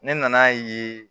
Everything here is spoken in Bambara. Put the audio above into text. Ne nan'a ye